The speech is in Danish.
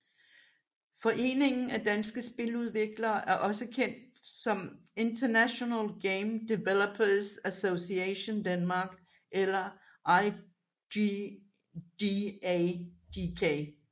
Foreningen af Danske Spiludviklere er også kendt som International Game Developers Association Denmark eller IGDA DK